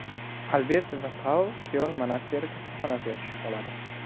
Albert va Paul Kyoln monastiri kasalxonasiga tushib qoladi.